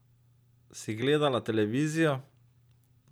Si gledala televizijo?